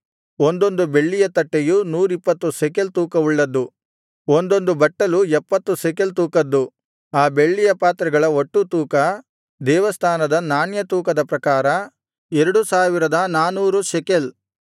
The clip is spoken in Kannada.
ಒಂದೊಂದು ಬೆಳ್ಳಿಯ ತಟ್ಟೆಯು 120 ಶೆಕೆಲ್ ತೂಕವುಳ್ಳದ್ದು ಒಂದೊಂದು ಬಟ್ಟಲು 70 ಶೆಕೆಲ್ ತೂಕದ್ದು ಆ ಬೆಳ್ಳಿಯ ಪಾತ್ರೆಗಳ ಒಟ್ಟು ತೂಕ ದೇವಸ್ಥಾನದ ನಾಣ್ಯ ತೂಕದ ಪ್ರಕಾರ 2400 ಶೆಕೆಲ್